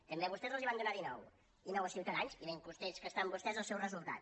també a vostès els en van donar dinou i nou a ciutadans i ben contents que estan vostès del seu resultat